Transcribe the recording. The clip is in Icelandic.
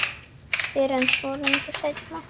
Fyrr en svo löngu seinna.